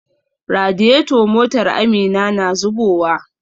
Radiator motar Amina na zubowa.